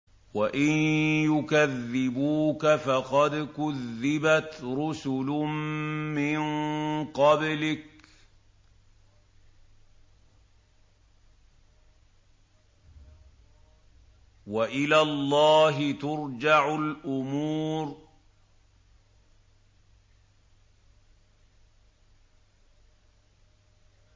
وَإِن يُكَذِّبُوكَ فَقَدْ كُذِّبَتْ رُسُلٌ مِّن قَبْلِكَ ۚ وَإِلَى اللَّهِ تُرْجَعُ الْأُمُورُ